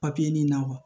ɲini na